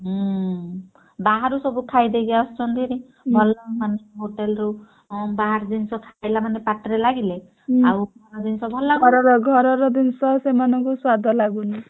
ହୁଁ ବାହାରୁ ସବୁ ଖାଇଦେଇକି ଆସୁଛନ୍ତି ଭାରୀ ଭଲ ମାନେ ହୋଟେଲରୁ ଅଁ ବାହାର ଜିନିଷ ଖାଇଲେ ମାନେ ପାଟିରେ ଲାଗିଲେ ଘର ଜିନିଷ ଭଲ ଲାଗୁନି।